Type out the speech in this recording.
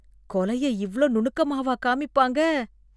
கொலைய இவ்ளோ நுணுக்கமாவா காமிப்பாங்க.